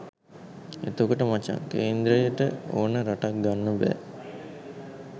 එතකොට මචන් කේන්ද්‍රය ට ඕන රටක් ගන්න බෑ